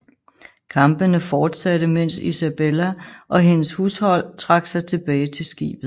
Kampene fortsatte mens Isabella og hendes hushold trak sig tilbage til skibet